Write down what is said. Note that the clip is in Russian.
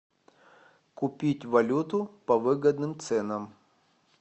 купить валюту по выгодным ценам